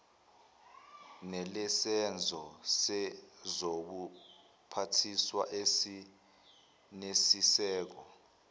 nelesenzo sezobuphathiswa esinesisekelo